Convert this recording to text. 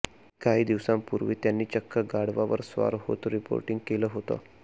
काही दिवसांपूर्वी त्यांनी चक्क गाढवावर स्वार होत रिपोर्टिंग केलं होतं